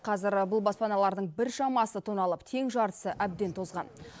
қазір бұл баспаналардың біршамасы тоналып тең жартысы әбден тозған